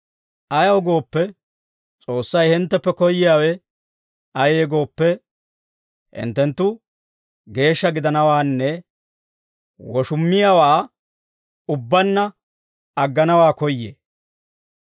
Ayaw gooppe, S'oossay hintteppe koyyiyaawe ayee gooppe, hinttenttu geeshsha gidanawaanne woshummiyaawaa ubbaanna agganawaa koyyee.